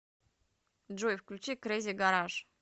джой включи крэзи гараж